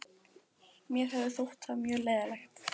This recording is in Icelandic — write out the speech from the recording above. Mér hefði þótt það mjög leiðinlegt.